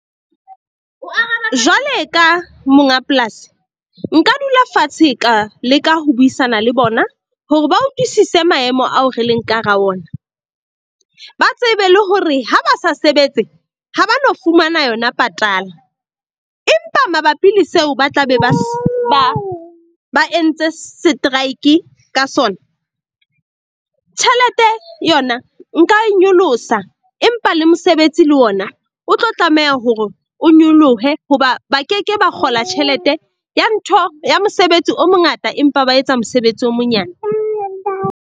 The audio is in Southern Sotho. Jwale ka monga polasi nka dula fatshe ka leka ho buisana le bona hore ba utlwisise maemo ao re leng ka hara ona. Ba tsebe le hore ha ba sa sebetse ha ba no fumana yona patala. Empa mabapi le seo ba tla be ba ba entse setrike ka sona. Tjhelete yona nka e nyolosa empa le mosebetsi le ona o tlo tlameha hore o nyolohe. Hoba ba ke ke ba kgola tjhelete ya ntho ya mosebetsi o mongata, empa ba etsa mosebetsi o monyane.